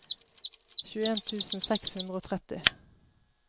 tjueen tusen seks hundre og tretti